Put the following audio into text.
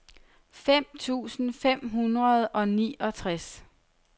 fem tusind fem hundrede og niogtres